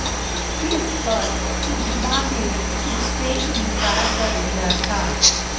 इस पर उज्मा ने इससे इनकार कर दिया था